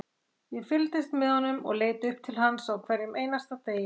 Ég fylgdist með honum og leit upp til hans á hverjum einasta degi,